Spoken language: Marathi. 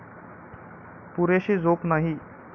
पुरेशी झोप नाही